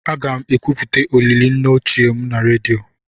Aga m ekwupụta olili nne m ochie na redio.